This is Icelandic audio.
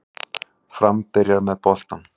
Fram byrjar með boltann